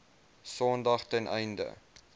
sondag ten einde